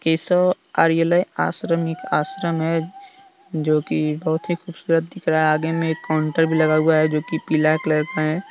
केशव आर्यालय आश्रमिक आश्रम है जो कि बहुत ही खूबसूरत दिख रहा आगे में एक काउंटर भी लगा हुआ है जो कि पीला कलर का है।